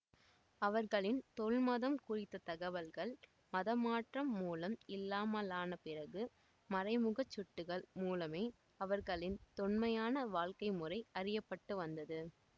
அவர்களின் தொல்மதம் குறித்த தகவல்கள் மதமாற்றம் மூலம் இல்லாமலான பிறகு மறைமுகச்சுட்டுகள் மூலமே அவர்களின் தொன்மையான வாழ்க்கைமுறை அறிய பட்டு வந்தது